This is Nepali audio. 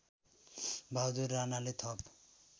बहादुर राणाले थप